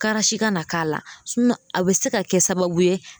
Kara si ka na k'a la sinɔn a be se ka kɛ sababu ye